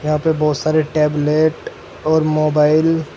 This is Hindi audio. यहां पर बहुत सारे टैबलेट और मोबाइल --